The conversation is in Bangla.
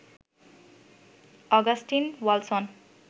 অগাস্টিন ওয়ালসন